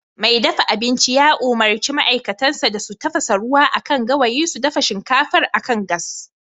Mai dafa abinci ya umurci ma'aikatansa da su tafasa ruwa akan gawayi su dafa shinkafar akan gas